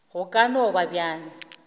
go ka no ba bjalo